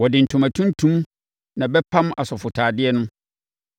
“Wɔde ntoma tuntum na ɛbɛpam asɔfotadeɛ no